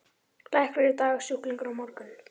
Læknir í dag, sjúklingur á morgun.